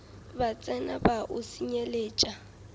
ba tsena ba o senyelet